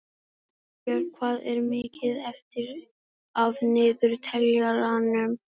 Hallbjörg, hvað er mikið eftir af niðurteljaranum?